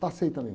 Passei também.